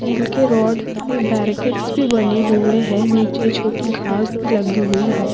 Still के rod से barricades भी बने हुए है नीचे छोटि घास भी लगी हुई है।